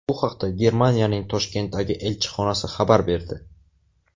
Bu haqda Germaniyaning Toshkentdagi elchixonasi xabar berdi .